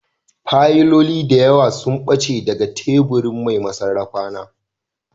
Fayiloli da yawa sun ɓace daga teburin mai sarrafa na